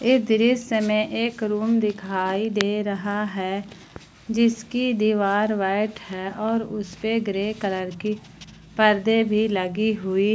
इस दृश्य में एक रूम दिखाई दे रहा है जिसकी दीवार व्हाइट है और उसपे ग्रे कलर की पर्दे भी लगी हुई--